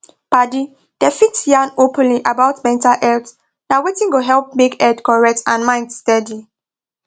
padi dem fit yan openly about mental health na wetin go help make head correct and mind steady